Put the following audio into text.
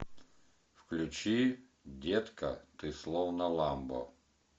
включи детка ты словно ламбо